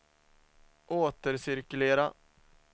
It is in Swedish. återcirkulera